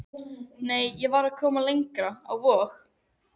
Nei, ég var komin lengra, á Vog.